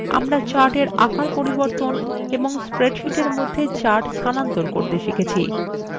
আমরা chartswe আকার পরিবর্তন এবং spreadsheet মধ্যে charts স্থানান্তর করতে শিখেছি